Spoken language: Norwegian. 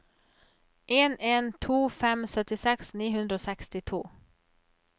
en en to fem syttiseks ni hundre og sekstito